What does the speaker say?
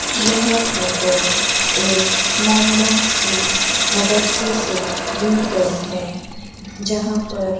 यह फोटो एक मोहम्मडंस की मदरसे से ली गई है जहां पर --